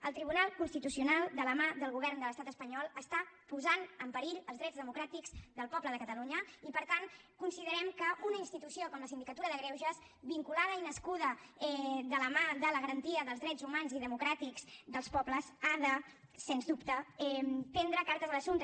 el tribunal constitucional de la mà del govern de l’estat espanyol està posant en perill els drets democràtics del poble de catalunya i per tant considerem que una institució com la sindicatura de greuges vinculada i nascuda de la mà de la garantia dels drets humans i democràtics dels pobles ha de sens dubte prendre cartes en l’assumpte